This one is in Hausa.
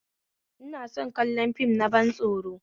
Ina son kallon fim na ban tsoro